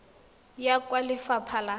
ya kwa go lefapha la